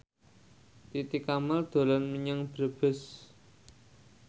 Titi Kamal dolan menyang Brebes